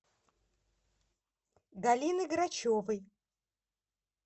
галины грачевой